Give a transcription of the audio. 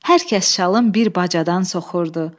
Hər kəs şalın bir bacadan soxurdu.